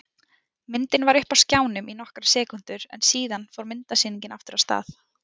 Myndin var uppi á skjánum í nokkrar sekúndur en síðan fór myndasýningin aftur af stað.